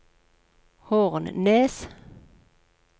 Hornnes